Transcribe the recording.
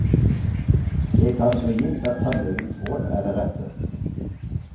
Jeg tar det for gitt at tannlegens råd er det rette.